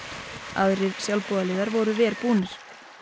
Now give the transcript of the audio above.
aðrir sjálfboðaliðar voru verr búnir